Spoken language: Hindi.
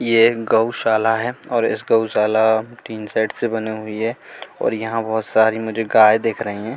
ये गौशाला है और इस गौशाला टीन शेड से बनी हुई है और यहां बहोत सारी मुझे गाय दिख रही है।